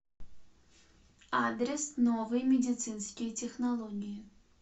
адрес новые медицинские технологии